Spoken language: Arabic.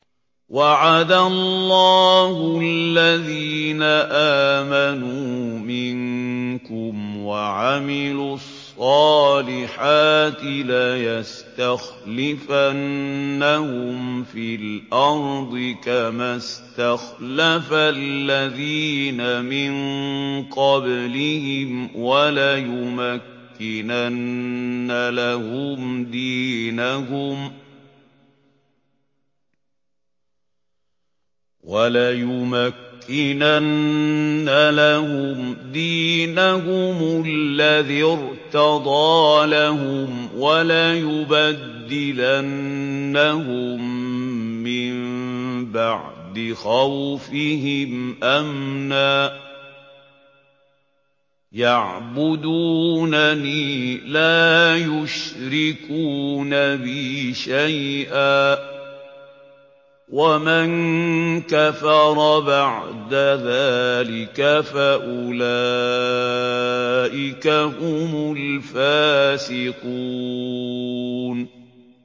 وَعَدَ اللَّهُ الَّذِينَ آمَنُوا مِنكُمْ وَعَمِلُوا الصَّالِحَاتِ لَيَسْتَخْلِفَنَّهُمْ فِي الْأَرْضِ كَمَا اسْتَخْلَفَ الَّذِينَ مِن قَبْلِهِمْ وَلَيُمَكِّنَنَّ لَهُمْ دِينَهُمُ الَّذِي ارْتَضَىٰ لَهُمْ وَلَيُبَدِّلَنَّهُم مِّن بَعْدِ خَوْفِهِمْ أَمْنًا ۚ يَعْبُدُونَنِي لَا يُشْرِكُونَ بِي شَيْئًا ۚ وَمَن كَفَرَ بَعْدَ ذَٰلِكَ فَأُولَٰئِكَ هُمُ الْفَاسِقُونَ